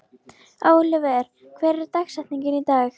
Oliver, hver er dagsetningin í dag?